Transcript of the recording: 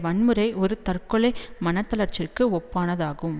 வன்முறை ஒரு தற்கொலை மனத்தளர்ச்சிக்கு ஒப்பானதாகும்